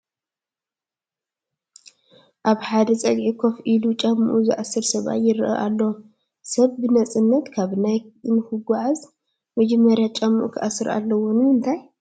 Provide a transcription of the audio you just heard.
ኣብ ሓደ ፀግዒ ኮፍ ኢሉ ጫምኡ ዝአስር ሰብኣይ ይርአ ኣሎ፡፡ ሰብ ብነፃነት ካብ ናብ ንክጉዓዝ መጀመሪያ ጫምኡ ክኣስር ኣለዎ፡፡ ንምንታይ?